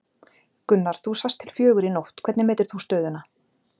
Gunnar þú sast til fjögur í nótt, hvernig metur þú stöðuna?